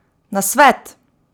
Nasvet!